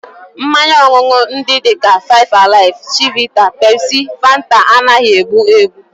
Mmanya ọṅụṅụ ndị dị ka five alive, chivita, Pepsi, Fanta, anaghị egbu egbu